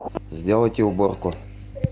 сделайте уборку